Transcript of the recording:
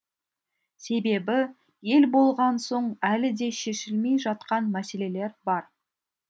себебі ел болған соң әлі де шешілмей жатқан мәселелер бар